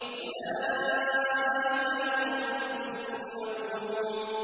أُولَٰئِكَ لَهُمْ رِزْقٌ مَّعْلُومٌ